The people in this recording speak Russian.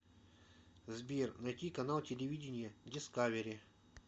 сбер найти канал телевидения дискавери